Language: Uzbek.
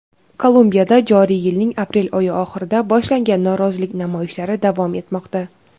Kolumbiyada joriy yilning aprel oyi oxirida boshlangan norozilik namoyishlari davom etmoqda.